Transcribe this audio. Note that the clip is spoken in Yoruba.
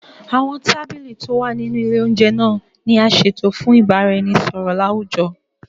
Awọn tábìlì tí o wà nínú ilè oúnjẹ naa ni a ṣeto fún ibaraẹnisọrọ lawujọ